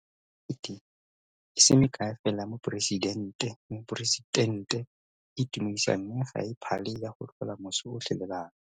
Go na le mekete e se mekae fela ya moporesitente e e itumedisang mme ga e phale ya go tlhola moso otlhe le bana.